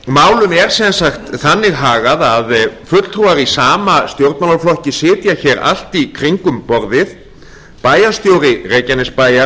málum er sem sagt þannig hagað að fulltrúar í sama stjórnmálaflokki sitja allt í kringum borðið háttvirtur bæjarstjóri reykjanesbæjar